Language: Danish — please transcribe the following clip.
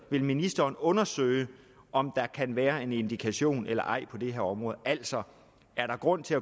vil ministeren undersøge om der kan være en indikation eller ej på det her område altså er der grund til at